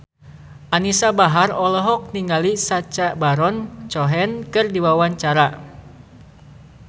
Anisa Bahar olohok ningali Sacha Baron Cohen keur diwawancara